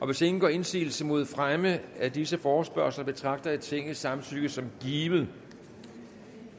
hvis ingen gør indsigelse mod fremme af disse forespørgsler betragter jeg tingets samtykke som givet